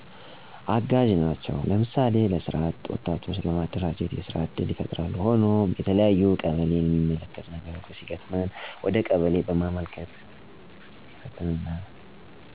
አጋዥ ነቸው ለምሳሌ፣ ለሰራ አጥ ወጣቶች በማደራጀት የስራ እድል ይፍጥራሉ። ሆኖም የተለያዩ ቀበሌን የሚመለከት ችግሮች ሲገጥሞን ወደ ቀበሌ በማመልከት ይፍቶልናል